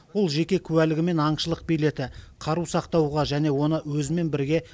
ол жеке куәлігі мен аңшылық билеті қару сақтауға және оны өзімен бірге